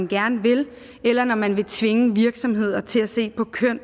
gerne vil eller når man vil tvinge virksomheder til at se på køn